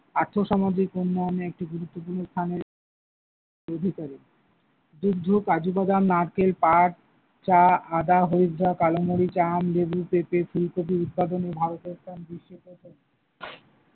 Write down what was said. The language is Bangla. আর্থসামাজিক উন্নয়নে একটি গুরুত্বপূর্ণ স্থান-এর আধিকারী, কাজুবাদাম, নারকেল, পাট, চা, আদা, , কালোমরিচ, আম, লেবু, পেঁপে, ফুলকপি উৎপাদনে ভারতের স্থান বিশ্বে প্রথম।